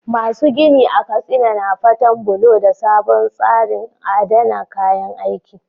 Masu gini a Katsina na fatan bullo da sabon tsarin adana kayan aiki.